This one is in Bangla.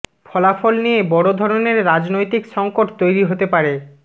ফলাফল নিয়ে বড় ধরনের রাজনৈতিক সঙ্কট তৈরি হতে পারে